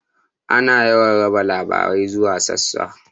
Ana yawan raba labarai zuwa sassa.